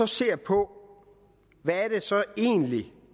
ser på hvad det så egentlig